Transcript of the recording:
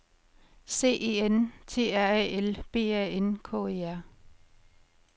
C E N T R A L B A N K E R